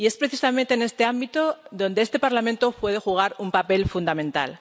Y es precisamente en este ámbito donde este Parlamento puede jugar un papel fundamental.